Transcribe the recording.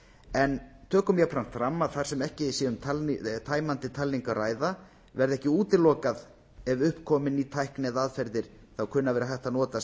en tökum jafnframt fram að þar sem ekki sé um tæmandi talningu að ræða verði ekki útilokað ef upp komi komi ný tækni eða aðferðir þá kunni að vera hægt að